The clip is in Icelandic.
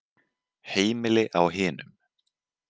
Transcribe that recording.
Heimili á hinum.